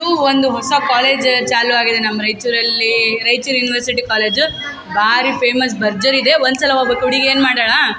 ಊ ಒಂದು ಹೊಸ ಕೋಲೆಜ್ ಚಾಲು ಆಗಿದೆ ನಮ್ಮ್ ರೈಯ್ಚೂರಲ್ಲೀ ರೈಯ್ಚೂರ್ ಯೂನಿವರ್ಸಿಟಿ ಕೋಲೆಜು ಭಾರೀ ಫೇಮಸ್ ಭರ್ಜರಿ ಇದೆ ಒನ್ಸಲಿ ಒಬ್ಬಕ್ಕೊಡಿ ಏನ್ಮಾಡಣಾ --